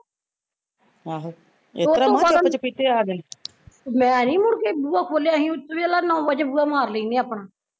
ਮੈਂ ਨੀ ਮੁੜ ਕੇ ਬੂਹਾ ਖੋਲਿਆ, ਅਸੀਂ ਦੇਖਲਾ ਨੋਂ ਵਜੇ ਬੂਹਾ ਮਾਰ ਲੈਂਦੇ ਆ ਆਪਣਾ